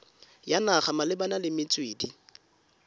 ya naga malebana le metswedi